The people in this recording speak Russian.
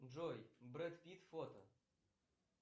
джой брэт питт фото